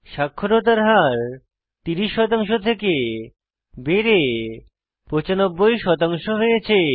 সাক্ষরতার হার 30 থেকে বেড়ে 95 হয়েছে